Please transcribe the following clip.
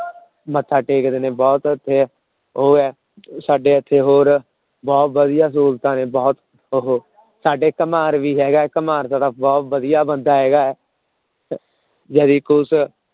ਮੱਥਾ ਟੇਕਦੇ ਨੇ ਬਹੁਤ ਇੱਥੇ ਉਹ ਹੈ ਸਾਡੇ ਇੱਥੇ ਹੋਰ ਬਹੁਤ ਵਧੀਆ ਸਹੂਲਤਾਂ ਨੇ ਬਹੁਤ ਉਹ ਸਾਡੇ ਘੁਮਾਰ ਵੀ ਹੈਗਾ ਘੁਮਾਰ ਸਾਡਾ ਬਹੁਤ ਵਧੀਆ ਬੰਦਾ ਹੈਗਾ ਕੁਛ